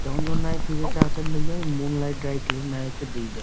जउन-जउन नाही भइया ई मून लाइट ड्राई क्लीन में आई के देईद।